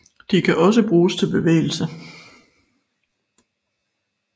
De kan også bruges til bevægelse